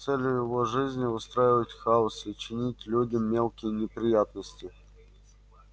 цель его жизни устраивать хаос и чинить людям мелкие неприятности